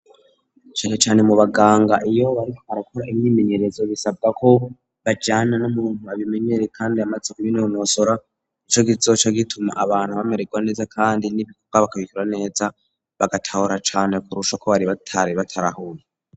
Canecane mu baganga iyo bariko barakora imyimenyerezo bisabwa ko bajana n'umuntu abimenyere kandi amaze kubinonosora, nico kizoca gituma abantu bamererwa neza kandi n'ibikorwa bakabikora neza bagatahura cane kurusha uko batari barabitarahuye.